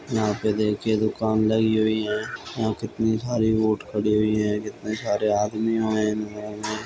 यहाँ पे देखिये दुकान लगी हुई है। यहाँ कितनी सारी बोट खड़ी हुई है कितने सारे आदमी हुए --